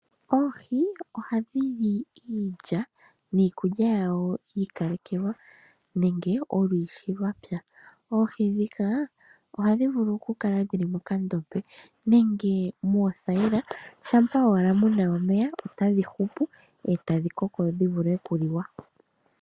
Oohi ohadhi li iilya niikulya yawo yiikalekelwa nenge olushi lwapya. Oohi dhika ohadhi vulu oku kala dhili mokandombe nenge mothaila shampa owala muna omeya tadhi hupu etadhi koko dhivule okuliwa.